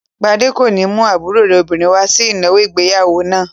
Gbadé kò ní mú àbúrò rẹ̀ obìnrin wá sí ìnáwó ìgbéyàwó náà.